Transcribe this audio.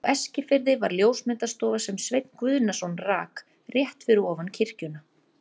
Á Eskifirði var ljósmyndastofa, sem Sveinn Guðnason rak, rétt fyrir ofan kirkjuna.